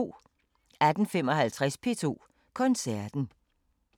18:55: P2 Koncerten